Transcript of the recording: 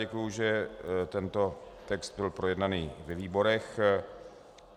Děkuji, že tento text byl projednán ve výborech.